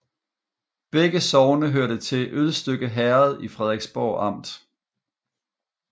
Begge sogne hørte til Ølstykke Herred i Frederiksborg Amt